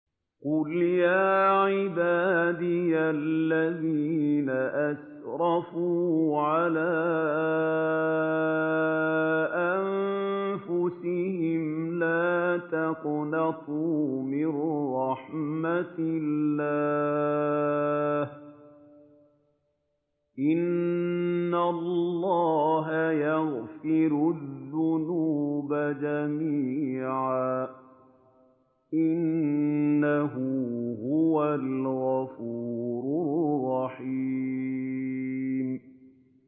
۞ قُلْ يَا عِبَادِيَ الَّذِينَ أَسْرَفُوا عَلَىٰ أَنفُسِهِمْ لَا تَقْنَطُوا مِن رَّحْمَةِ اللَّهِ ۚ إِنَّ اللَّهَ يَغْفِرُ الذُّنُوبَ جَمِيعًا ۚ إِنَّهُ هُوَ الْغَفُورُ الرَّحِيمُ